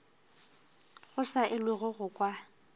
go sa elwego go kwa